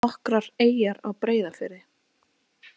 Nokkrar eyjar á Breiðafirði.